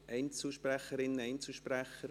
Einzelsprecherinnen und Einzelsprecher?